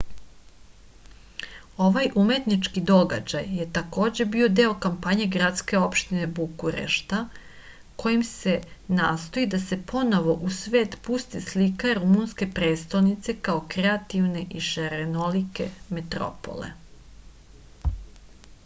ovaj umetnički događaj je takođe bio deo kampanje gradske opštine bukurešta kojim se nastoji da se ponovo u svet pusti slika rumunske prestonice kao kreativne i šarenolike metropole